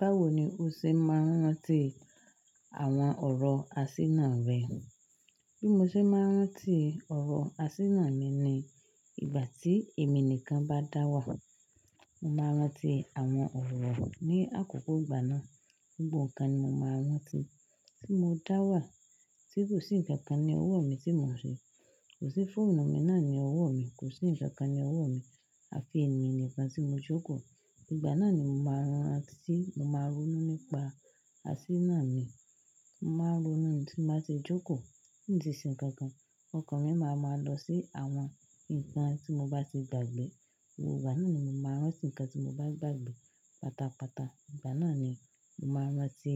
Báwo ni o ṣe máa ń rántí àwọn ọ̀rọ̀ àsínà rẹ? Bí mo ṣe máa ń rántí ọ̀rọ̀ àsínà mi ni ìgbà tí èmi nìkan bá dá wà. Mo máa rántí àwọn ọ̀rọ̀ ní àkókò ìgbà náà. Gbogbk ǹkan ni mo máa rántí, tí mo dá wà, tí kò sí ǹkan kan ní ọwọ́ mi tí mò ń ṣe. Kò sí fóònù mi náà ní ọwọ́ mi, kò sí ǹkan kan ní ọwọ́ mi, àfi èmi nìkan tí mo jókòó. Ìgbà náà ni mo ma ń rántí, mo máa ronú nípa àsínà mii mo máa ń ronú nii tí n bá ti jókò tí n tí ṣe ǹkankan, ọkàn mi ma máa lọ sí àwọn ǹkan tí mo bá ti gbàgbé. Gbogbo ìgbà náà ni mo ma ń rántí ǹkan tí mo bá gbàgbé pátápátá ìgbà náà ni mo ma ń rántí